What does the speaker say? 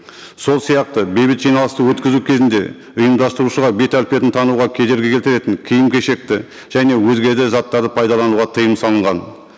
сол сияқты бейбіт жиналысты өткізу кезінде ұйымдастырушыға бет әлпетін тануға кедергі келтіретін киім кешекті және өзге де заттарды пайдалануға тыйым салынған